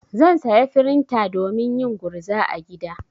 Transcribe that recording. Zan saya frinta domin yin gurza a gida.